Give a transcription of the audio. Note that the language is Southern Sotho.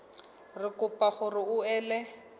re kopa hore o ele